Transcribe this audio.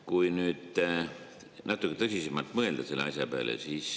Mõtleme nüüd natuke tõsisemalt selle asja peale.